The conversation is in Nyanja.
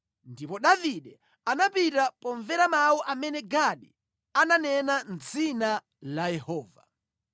Ndipo Davide anapita pomvera mawu amene Gadi ananena mʼdzina la Yehova.